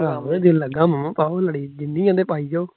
ਪਾਉਣ ਦੇ, ਦਿਲ ਲੱਗਾ ਅਮ, ਪਾਉਣ ਲੜੀ, ਜਿੰਨੀ ਐ ਨੇ ਪਾਈ ਜਾਓ